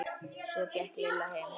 Svo gekk Lilla heim.